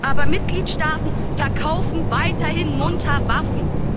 Aber Mitgliedstaaten verkaufen weiterhin munter Waffen!